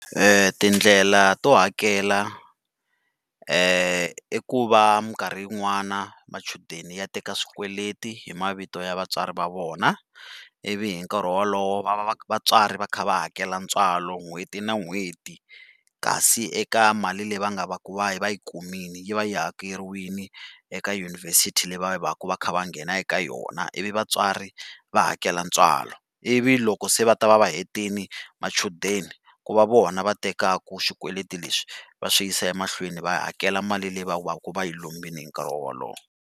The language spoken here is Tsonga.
Tindlela to hakela i ku va minkarhi yin'wana machudeni ya teka swikweleti hi mavito ya vatswari va vona, ivi hi nkarhi wolowo va va va vatswari va kha va hakela ntswalo n'hweti na n'hweti. Kasi eka mali leyi va nga va ku va yi va yi kumile yi va yi hakeriwini eka yunivhesiti leyi va va ku va kha va nghena eka yona ivi vatswari va hakela ntswalo. Ivi loko se va ta va hetile machudeni, ku va vona va tekaka xikweleti leswi va swi yisa emahlweni va hakela mali leyi va va ku va yi lombile hi nkarhi wolowo.